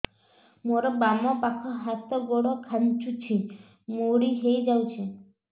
ମୋର ବାମ ପାଖ ହାତ ଗୋଡ ଖାଁଚୁଛି ମୁଡି ହେଇ ଯାଉଛି